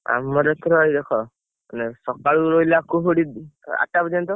ଆମର ଏଥର ଭାଇ ଦେଖ ସକାଳୁ କୁହୁଡି ରହିଲା ଅଟା ପାର୍ଜୟନ୍ତ।